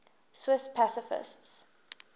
swiss pacifists